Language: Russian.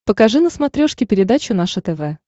покажи на смотрешке передачу наше тв